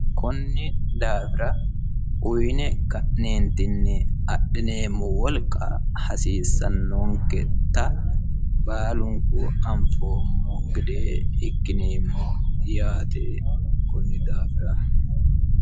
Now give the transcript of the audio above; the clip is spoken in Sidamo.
konni daafira uyiine ka'neentinni adhineemmo wolqa hasiissanonketa baalunku anfoommo gede ikkine yaate kunni daafir.